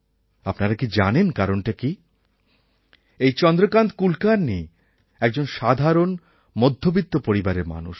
আপনারা কি জানেন কারণটা কী এই চন্দ্রকান্ত কুলকার্ণি একজন সাধারণ মধ্যবিত্ত পরিবারের মানুষ